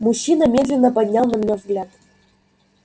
мужчина медленно поднял на меня взгляд